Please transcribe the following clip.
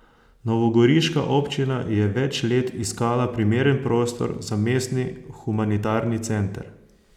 Novogoriška občina je več let iskala primeren prostor za mestni Humanitarni center.